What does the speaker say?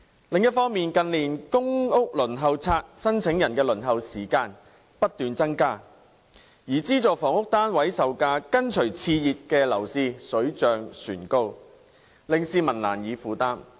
另一方面，近年公屋輪候冊申請人的輪候時間不斷增加，而資助房屋單位售價跟隨熾熱樓市水漲船高，令市民難以負擔。